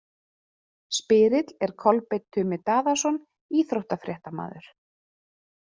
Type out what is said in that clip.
Spyrill er Kolbeinn Tumi Daðason, íþróttafréttamaður.